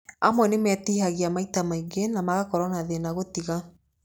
Amwe nĩ metihagia maita maingĩ na magakorwo na thĩna gũtiga.